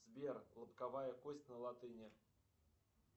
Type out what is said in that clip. сбер лобковая кость на латыни